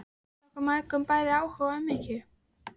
Hún sýndi okkur mæðgum bæði áhuga og umhyggju.